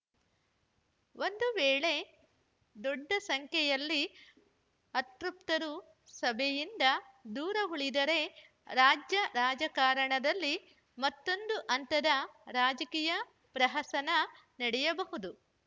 ಒಂದು ವೇಳೆ ದೊಡ್ಡ ಸಂಖ್ಯೆಯಲ್ಲಿ ಅತೃಪ್ತರು ಸಭೆಯಿಂದ ದೂರವುಳಿದರೆ ರಾಜ್ಯ ರಾಜಕಾರಣದಲ್ಲಿ ಮತ್ತೊಂದು ಹಂತದ ರಾಜಕೀಯ ಪ್ರಹಸನ ನಡೆಯಬಹುದು